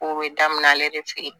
Kow be daminɛ ale de fe yen